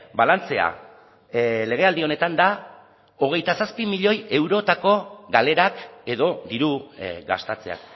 balantzea legealdi honetan da hogeita zazpi milioi eurotako galerak edo diru gastatzea